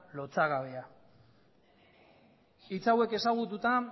lotsagabea hitz hauek ezagututa